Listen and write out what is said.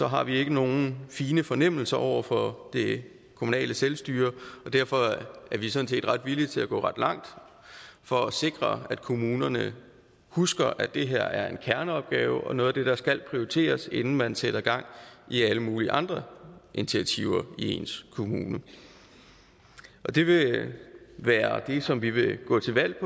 har vi ikke nogen fine fornemmelser over for det kommunale selvstyre og derfor er vi sådan set ret villige til at gå ret langt for at sikre at kommunerne husker at det her er en kerneopgave og noget af det der skal prioriteres inden man sætter gang i alle mulige andre initiativer i ens kommune det vil være det som vi vil gå til valg